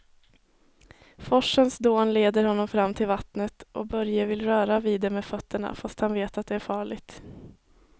Forsens dån leder honom fram till vattnet och Börje vill röra vid det med fötterna, fast han vet att det är farligt.